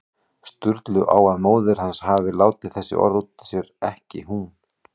Sturlu á að móðir hans hafi látið þessi orð út úr sér, ekki hún.